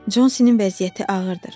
Consinin vəziyyəti ağırdır.